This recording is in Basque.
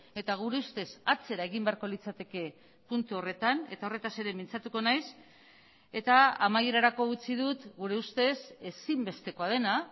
eta gure ustez atzera egin beharko litzateke puntu horretan eta horretaz ere mintzatuko naiz eta amaierarako utzi dut gure ustez ezinbestekoa dena